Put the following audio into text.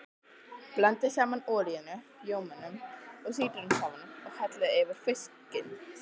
Blandið saman olíunni, rjómanum og sítrónusafanum og hellið yfir fiskinn.